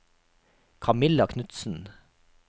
Camilla Knutsen